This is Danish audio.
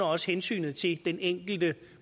også hensynet til den enkelte